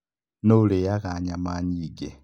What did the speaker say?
Nũũ ũrĩĩaga nyama nyingĩ?